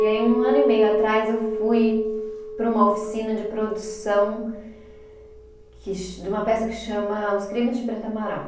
E aí um ano e meio atrás eu fui para uma oficina de produção que de uma peça que chama Os Crimes de Preto Amaral.